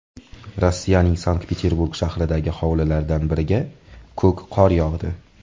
Rossiyaning Sankt-Peterburg shahridagi hovlilardan biriga ko‘k qor yog‘di.